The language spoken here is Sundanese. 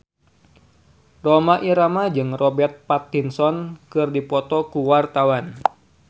Rhoma Irama jeung Robert Pattinson keur dipoto ku wartawan